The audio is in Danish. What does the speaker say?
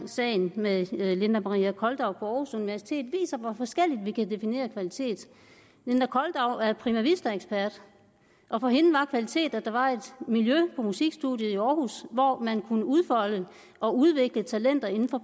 sagen med linda maria koldau på aarhus universitet viser hvor forskelligt vi kan definere kvalitet linda koldau er prima vista ekspert og for hende var kvalitet at der var et miljø på musikstudiet i aarhus hvor man kunne udfolde og udvikle talenter inden for